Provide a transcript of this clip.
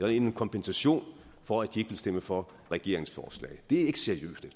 er en kompensation for at de ikke stemme for regeringens forslag det er ikke seriøst